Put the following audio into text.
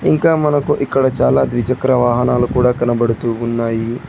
ఇంకా మనకు ఇక్కడ చాలా ద్విచక్ర వాహనాలు కూడా కనబడుతూ ఉన్నాయి.